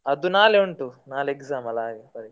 ಅದು ನಾಳೆ ಉಂಟು ನಾಳೆ exam ಅಲ್ಲ ಹಾಗೆ.